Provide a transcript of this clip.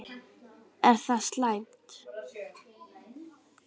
Er það slæmt?